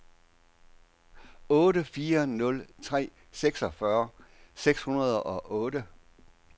otte fire nul tre seksogfyrre seks hundrede og otte